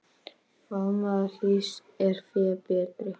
Faðmur hlýs er fé betri.